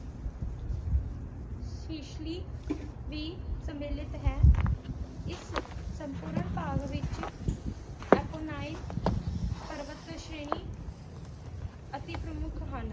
Sicily ਵੀ ਸਮਿਲਿਤ ਹੈ ਇਸ ਸੰਪੂਰਨ ਭਾਗ ਵਿਚ ਅਫ਼ੋਨਾਈਇਨ ਪਰਵਤ ਸ਼੍ਰੇਣੀ ਅਤਿ ਪ੍ਰਮੁੱਖ ਹਨ